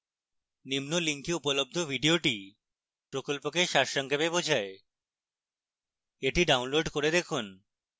নিম্ন link উপলব্ধ video প্রকল্পকে সারসংক্ষেপ বোঝায় the download করে দেখুন